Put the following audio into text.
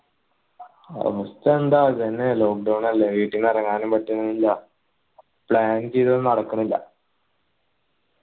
അവസ്ഥ എന്താ ഇതന്നെ lockdown അല്ലെ വീട്ടീന്ന് ഇറങ്ങാനും പറ്റുന്നില്ല plan ചെയ്തതൊന്നും നടക്കണില്ല